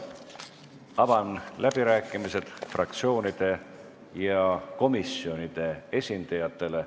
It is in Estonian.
Avan läbirääkimised fraktsioonide ja komisjonide esindajatele.